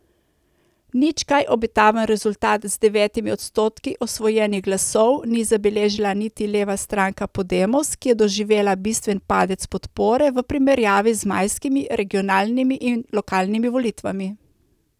Nič kaj obetaven rezultat z devetimi odstotki osvojenih glasov ni zabeležila niti leva stranka Podemos, ki je doživela bistven padec podpore v primerjavi z majskimi regionalnimi in lokalnimi volitvami.